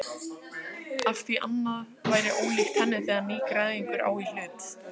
Afþví annað væri ólíkt henni þegar nýgræðingur á í hlut.